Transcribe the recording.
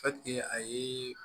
a ye